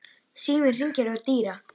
Síminn hringir hjá Dýra.